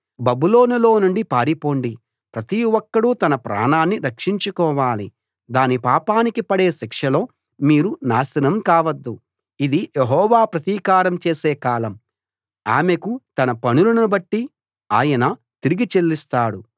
బబులోనులో నుండి పారిపోండి ప్రతి ఒక్కడూ తన ప్రాణాన్ని రక్షించుకోవాలి దాని పాపానికి పడే శిక్షలో మీరు నాశనం కావద్దు ఇది యెహోవా ప్రతీకారం చేసే కాలం ఆమెకు తన పనులను బట్టి ఆయన తిరిగి చెల్లిస్తాడు